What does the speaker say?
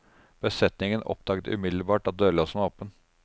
Besetningen oppdaget umiddelbart at dørlåsen var åpen.